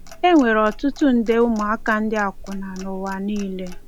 E nwere ọtụtụ nde ụmụaka ndị akwụna n'ụwa niile.